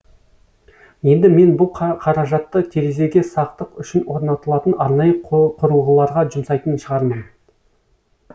енді мен бұ қаражатты терезеге сақтық үшін орнатылатын арнайы құрылғыларға жұмсайтын шығармын